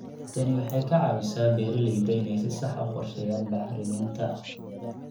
Tani waxay ka caawisaa beeralayda inay si sax ah u qorsheeyaan bacriminta.